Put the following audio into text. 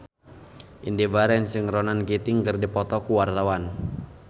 Indy Barens jeung Ronan Keating keur dipoto ku wartawan